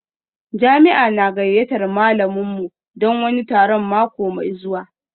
Jami'a na gayyatar malaminmu don wani taron mako mai zuwa